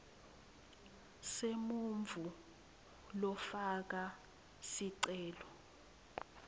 semuntfu lofaka sicelo